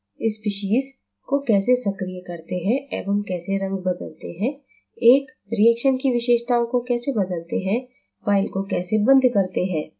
species को कैसे सक्रिय करते हैं एवं कैसे रंग बदलते हैं एक reaction की विशेषताओं को कैसे बदलते हैं file को कैसे बंद करते हैं